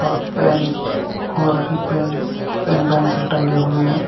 और पेन और भी पेंस पेन पेंसिल टंगे हुए हैं।